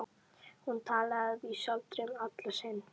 Hún talaði að vísu aldrei um Alla sinn.